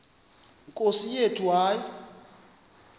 nkosi yethu hayi